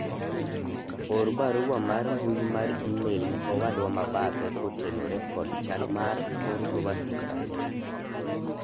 or barua mar mbui mar email ne owadwa mabathe kotenore kod chal mar kor lwasi sani